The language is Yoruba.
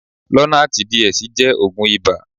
Lonarti DS jẹ́ oògùn ibà.